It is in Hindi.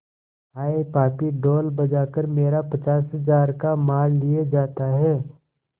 हाय पापी ढोल बजा कर मेरा पचास हजार का माल लिए जाता है